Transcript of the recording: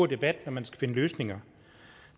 debat når man skal finde løsninger